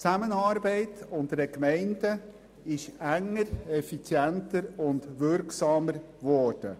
Die Zusammenarbeit zwischen den Gemeinden ist enger, effizienter und wirksamer geworden.